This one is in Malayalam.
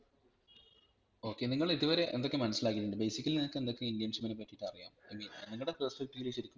Okay നിങ്ങളിതുവരെ എന്തൊക്കെ മനസിലാകിട്ടുണ്ട് basically നിങ്ങൾക് എന്തൊക്കെ internship നെ പറ്റിട്ട് അറിയാം I mean നിങ്ങടെ perspective ൽ